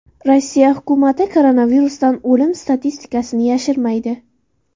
Rossiya hukumati koronavirusdan o‘lim statistikasini yashirmaydi.